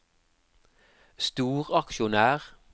storaksjonær